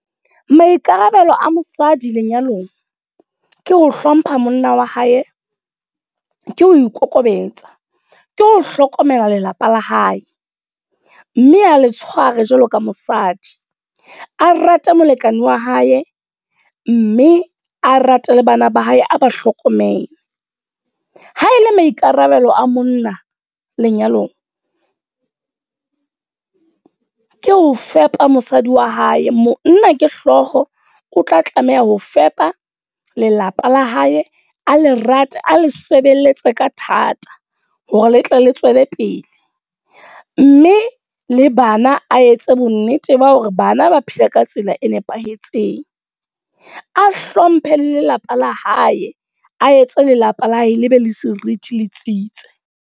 Maikarabelo a mosadi lenyalong, ke ho hlompha monna wa hae. Ke ho ikokobetsa. Ke ho hlokomela lelapa la hae, mme a le tshware jwalo ka mosadi. A rate molekane wa hae, mme a rate le bana ba hae, a ba hlokomele. Ha ele maikarabelo a monna lenyalong. Ke ho fepa mosadi wa hae, monna ke hlooho o tla tlameha ho fepa lelapa la hae. A le rate, a le sebeletse ka thata hore le tle le tswele pele. Mme le bana a etse bonnete ba hore bana ba phele ka tsela e nepahetseng. A hlomphe le lelapa la hae, a etse lelapa la hae le be le seriti letsitse.